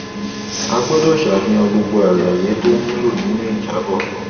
a gbọdọ sàfihàn gbogbo àlàyé tó wúlò nínú ìjábọ